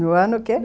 No ano o quê?